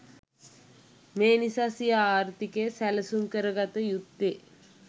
මේ නිසා සිය ආර්ථිකය සැලසුම් කරගත යුත්තේ